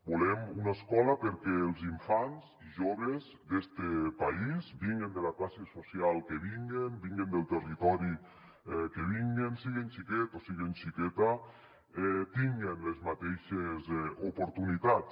volem una escola perquè els infants i joves d’este país vinguen de la classe social que vinguen vinguen del territori que vinguen siguen xiquets o siguen xique·tes tinguen les mateixes oportunitats